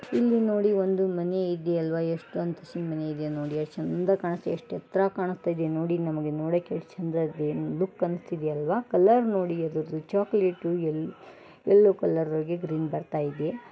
ಇಲ್ಲಿ ನೋಡಿ ಒಂದು ಮನೆ ಇದೆ ಅಲ್ವ ಎಷ್ಟೊಂದು ಆಸಿಸಿ ಮನೆ ಇದೆ ನೋಡಿ ಎಷ್ಟ್ ಚಂದ ಕಾಣಿಸುತ್ತೆ ಎಷ್ಟ್ ಎತ್ರ ಕಾಣಿಸ್ತ್ತಾಯ್ದೆ ನೋಡಿ ನಮಗೆ ನೋಡಕೆ ಎಷ್ಟ್ ಚಂದ ಇದೆ ಲುಕ್ ಅನ್ಸ್ಥಿದೆ ಅಲ್ವ ಕಲ್ಲರ್ ನೋಡಿ ಅದೃದ್ದು ಚೋಕಲೇಟು ಯಲ್ಲೊ-ಯಲ್ಲೋ ಕಲ್ಲರಿಗೆ ಗ್ರೀನ್ ಬರತ್ತಾಯಿದೆ.